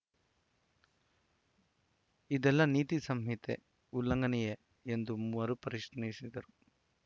ಇದೆಲ್ಲ ನೀತಿ ಸಂಹಿತೆ ಉಲ್ಲಂಘನೆಯೇ ಎಂದು ಮರು ಪ್ರಶ್ನಿಸಿದರು